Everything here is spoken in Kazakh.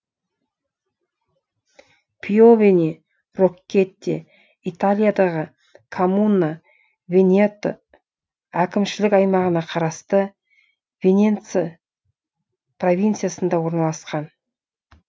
пьовене роккетте италиядағы коммуна венето әкімшілік аймағына қарасты виненца провинциясында орналасқан